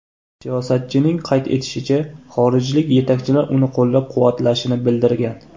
Siyosatchining qayd etishicha, xorijlik yetakchilar uni qo‘llab-quvvatlashini bildirgan.